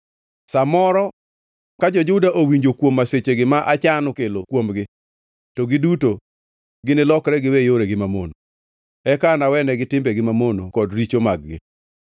Sa moro ka jo-Juda owinjo kuom masichegi ma achano mar kelo kuomgi, to giduto ginilokre giwe yoregi mamono; eka anawenegi timbegi mamono kod richo mag-gi.”